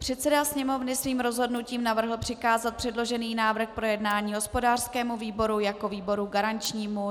Předseda Sněmovny svým rozhodnutím navrhl přikázat předložený návrh k projednání hospodářskému výboru jako výboru garančnímu.